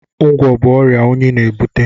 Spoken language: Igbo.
Ngwọ̀ bụ ọrịa unyi na-ebute.